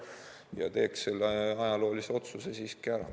Ja teeks selle ajaloolise otsuse siiski ära.